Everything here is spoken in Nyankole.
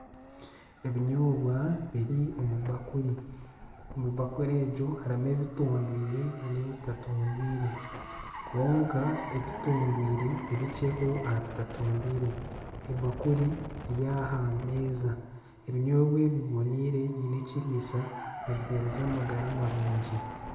Ebinyoobwa biri omu bakuri ,omu bakuri egyo harimu ebitondwiire nana ebitatondwiire kwonka ebitondwiire nibikyeho aha bitatondwiire ebakuri eri aha meeza ebinyoobwa ebi biboneire biine ekiriisa nibihereza amagara marungi.